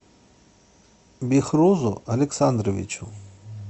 бехрузу александровичу